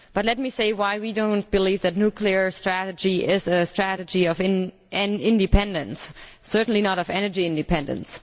But let me say why we do not believe that a nuclear strategy is a strategy of independence, certainly not of energy independence.